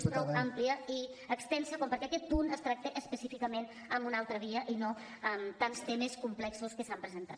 és prou àmplia i extensa com perquè aquest punt es tracti específicament en una altra via i no amb tants temes complexos que s’han presentat